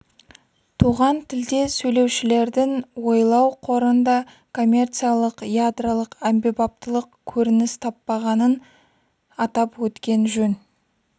туған тілде сөйлеушілердің ойлау қорында коммерциялық ядролық әмбебаптылық көрініс таппағанын атап өткен жөн